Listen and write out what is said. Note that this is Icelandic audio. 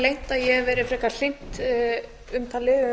ég hef verið frekar hlynnt umtali um að